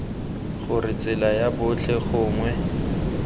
gore tsela ya botlhe gongwe